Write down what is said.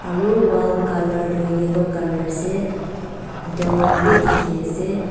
aro wall colour toh yellow colour ase door khan bi dikhiase.